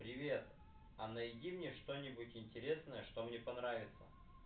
привет а найди мне что-нибудь интересное что мне понравится